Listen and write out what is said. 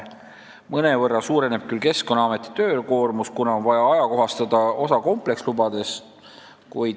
Mõnevõrra suureneb küll Keskkonnaameti töökoormus, kuna osa komplekslubadest on vaja ajakohastada.